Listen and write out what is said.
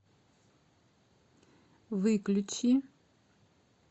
выключи